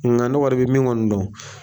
Nka ne kɔni bɛ min kɔni dɔn